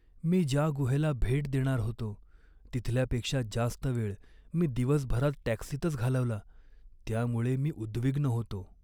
मी ज्या गुहेला भेट देणार होतो तिथल्यापेक्षा जास्त वेळ मी दिवसभरात टॅक्सीतच घालवला त्यामुळे मी उद्विग्न होतो.